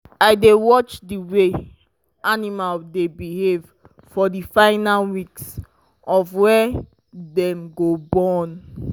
i dey watch the way the animal dy behave for the final weeks of wy dem go born